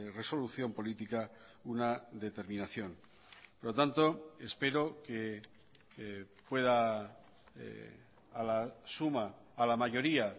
resolución política una determinación por lo tanto espero que pueda a la suma a la mayoría